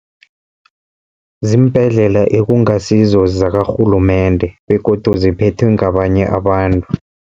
Ziimbhedlela ekungasizo zakarhulumende begodu ziphethwe ngabanye abantu.